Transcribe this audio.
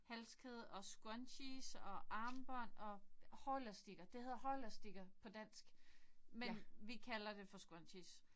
Halskæde og scrunchies og armbånd og hårelastikker! Det hedder hårelastikker på dansk men vi kalder det for scrunchies